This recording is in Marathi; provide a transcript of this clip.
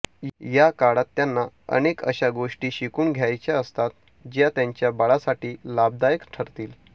या काळात त्यांना अनेक अशा गोष्टी शिकून घ्यायच्या असतात ज्या त्यांच्या बाळासाठी लाभदायक ठरतील